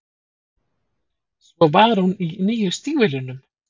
Svo var hún í nýju stígvélunum.